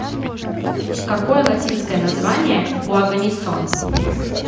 какой латинское название у оганесон